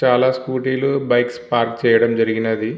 చాలా స్కూటీలు bikes park చేయడం జరిగినది.